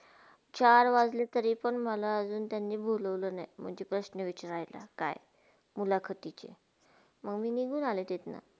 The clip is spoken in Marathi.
चार वाजले तरी पण माला अजुन बोलावले नाही म्हणजे प्रश्न विचरायला काय मुलखातिचे? त्यामुळे मी निघुन आले तिथून.